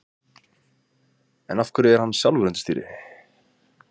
En af hverju er hann sjálfur undir stýri?